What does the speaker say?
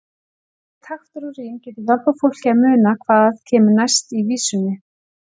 Bæði taktur og rím getur hjálpað fólki að muna hvað kemur næst í vísunni.